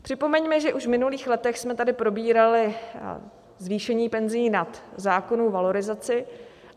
Připomeňme, že už v minulých letech jsme tady probírali zvýšení penzí nad zákonnou valorizaci.